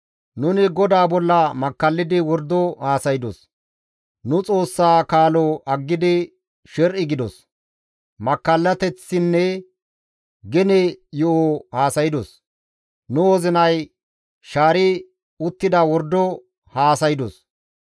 Nuni GODAA bolla makkallidi wordo haasaydos; nu Xoossaa kaalo aggidi sher7i gidos; makkallateththinne gene yo7o haasaydos. Nu wozinay shaari uttida wordo haasaydos.